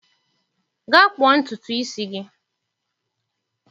Gaa kpụọ ntutu isi gị.